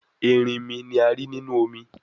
Erinmi ni a ri ninu omi